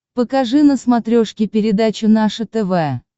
покажи на смотрешке передачу наше тв